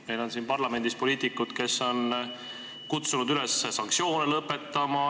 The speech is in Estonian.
Meil on siin parlamendis poliitikuid, kes on kutsunud üles sanktsioone lõpetama.